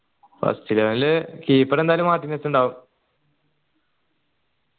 first eleven ൽ keeper എന്തായാലും മാറ്റി നിർത്തിണ്ടാവു